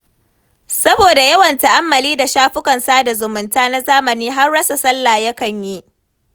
Saboda yawan ta'ammali da shafukan sada zumunta na zamani har rasa sallah yakan yi.